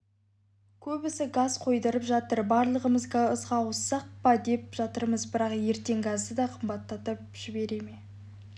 көбісі газ қойдырып жатыр барлығымыз газға ауыссақ па деп жатырмыз бірақ ертең газды да қымбаттатып жібереме